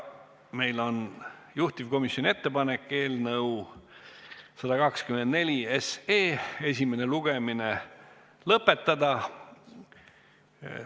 Meil on juhtivkomisjoni ettepanek eelnõu 124 esimene lugemine lõpetada.